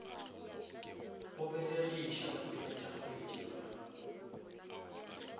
go belegiša basepetša kgetsi ba